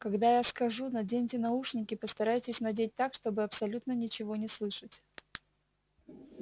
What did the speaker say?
когда я скажу наденьте наушники постарайтесь надеть так чтобы абсолютно ничего не слышать